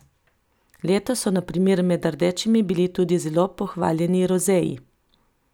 Letos so na primer med rdečimi bili tudi zelo pohvaljeni rozeji.